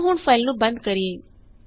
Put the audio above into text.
ਆਓ ਹੁਣ ਫਾਇਲ ਨੂੰ ਬੰਦ ਕਰੀਏ